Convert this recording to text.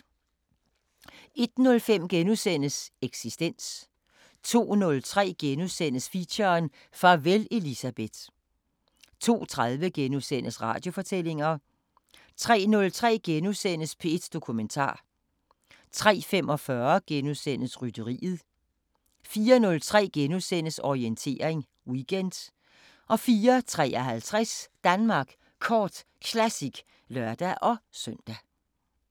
01:05: Eksistens * 02:03: Feature: Farvel Elisabeth * 02:30: Radiofortællinger * 03:03: P1 Dokumentar * 03:45: Rytteriet * 04:03: Orientering Weekend * 04:53: Danmark Kort Classic (lør-søn)